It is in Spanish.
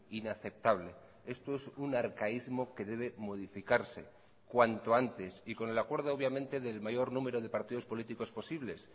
inaceptable esto es un arcaísmo que debe modificarse cuanto antes y con el acuerdo obviamente del mayor número de partidos políticos posibles